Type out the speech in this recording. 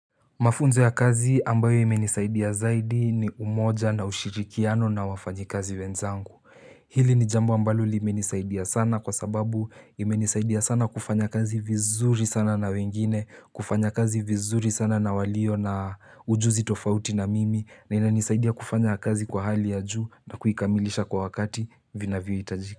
Mafunzo ya kazi ambayo imenisaidia zaidi ni umoja na ushirikiano na wafanyikazi wenzangu Hili ni jambo ambalo limenisaidia sana kwa sababu imenisaidia sana kufanya kazi vizuri sana na wengine kufanya kazi vizuri sana na walio na ujuzi tofauti na mimi na inanisaidia kufanya kazi kwa hali ya juu na kuikamilisha kwa wakati vinavyo hitajika.